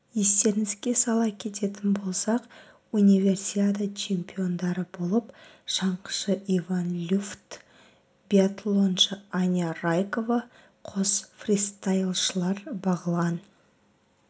естеріңізге сала кететін болсақ универсиада чемпиондары болып шаңғышы иван люфт биатлоншы алина райкова қос фристайлшылар бағлан